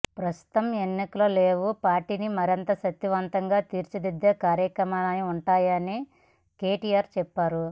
ప్రస్తుతం ఎన్నికలు లేవు పార్టీని మరింత శక్తి వంతంగా తీర్చిదిద్దే కార్యక్రమాలే ఉంటాయని కెటిఆర్ చెప్పారు